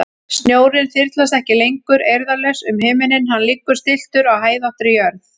Snjórinn þyrlast ekki lengur eirðarlaus um himininn, hann liggur stilltur á hæðóttri jörð.